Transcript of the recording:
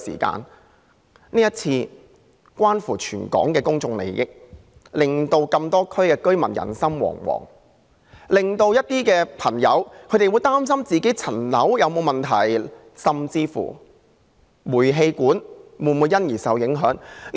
這次事件關乎全港的公眾利益，令多個地區的居民人心惶惶，令市民擔心其物業有沒有問題，甚至煤氣管會否因而受影響。